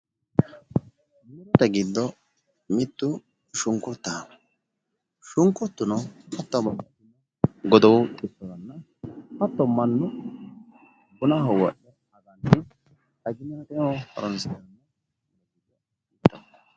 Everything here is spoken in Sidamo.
Murote giddo mittu shunkuraho shunkurtuno togo godowu xissoranna hatto mannu bunaho wodhe agannohonna xaginateho horoonsirannoho